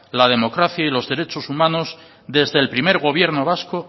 la democracia y los derechos humanos desde el primer gobierno vasco